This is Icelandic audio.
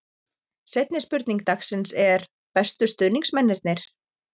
Seinni spurning dagsins er: Bestu stuðningsmennirnir?